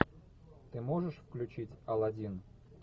ты можешь включить аладдин